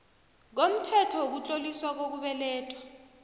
komthetho wokutloliswa kokubelethwa